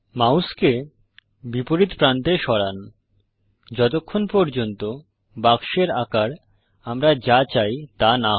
মাউসকে বিপরীত প্রান্তে সরান যতক্ষন পর্যন্ত বাক্সের আকার আমরা যা চাই তা না হয়